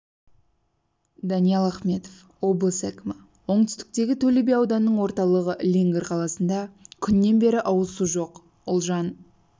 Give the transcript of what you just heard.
даниал ахметов облыс әкімі оңтүстіктегі төле би ауданының орталығы леңгір қаласында күннен бері ауызсу жоқ ұлжан